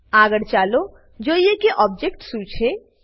આગળ ચાલો જોઈએ કે ઓબજેક્ટ શું છે